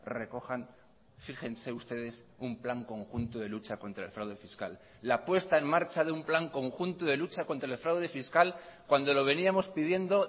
recojan fíjense ustedes un plan conjunto de lucha contra el fraude fiscal la puesta en marcha de un plan conjunto de lucha contra el fraude fiscal cuando lo veníamos pidiendo